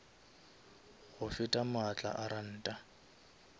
go feta maatla a ranta